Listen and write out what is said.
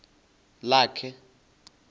lakhe